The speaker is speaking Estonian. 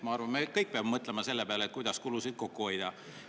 Ma arvan, et me kõik peame mõtlema selle peale, kuidas kulusid kokku hoida.